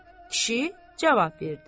Kişi cavab verdi.